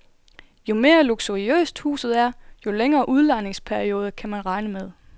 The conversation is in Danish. Jo mere luksuriøst huset er, jo længere udlejningsperiode kan man regne med.